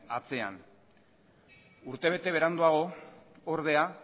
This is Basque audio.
atzean urtebete beranduago ordea